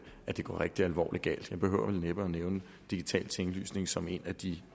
hvor det går rigtig alvorlig galt jeg behøver vel næppe at nævne digital tinglysning som et af de